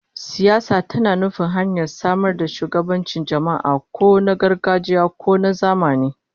Siyasa tana nufin hanyar samar da shugabancin jama'a, ko na gargajiya ko na zamani